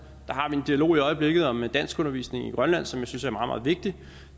har vi en dialog i øjeblikket om danskundervisning i grønland som jeg synes er meget meget vigtig